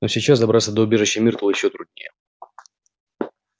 но сейчас добраться до убежища миртл ещё труднее